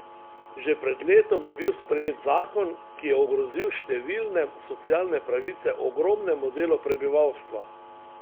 Že pred letom je bil sprejet zakon, ki je ogrozil številne socialne pravice ogromnemu delu prebivalstva.